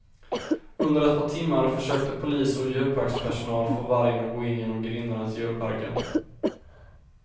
Under ett par timmar försökte polis och djurparkspersonal få vargen att gå in genom grindarna till djurparken.